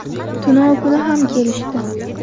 Tunov kuni ham kelishdi.